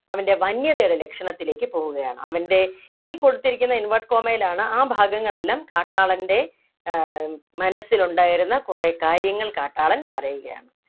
അവൻ്റെ വന്യതയുടെ ലക്ഷണത്തിലേക്ക് പോവുകയാണ് അവൻ്റെ ഇനി കൊടുത്തിരിക്കുന്നത് inverted comma യിലാണ് ആ ഭാഗങ്ങൾ എല്ലാം കാട്ടാളൻ്റെ ഏർ മനസ്സിലുണ്ടായിരുന്ന കുറെ കാര്യങ്ങൾ കാട്ടാളൻ പറയുകയാണ്